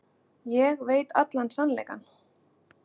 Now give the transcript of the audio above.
Ég veit allan sannleikann.